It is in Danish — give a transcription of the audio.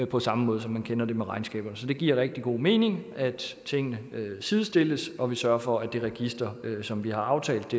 på samme måde som vi kender det fra regnskaberne så det giver rigtig god mening at tingene sidestilles og vi sørger for at det register som vi har aftalt